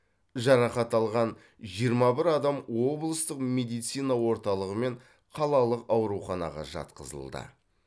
жарақат алған жиырма бір адам облыстық медицина орталығы мен қалалық ауруханаға жатқызылды